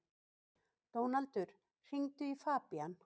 Dónaldur, hringdu í Fabían.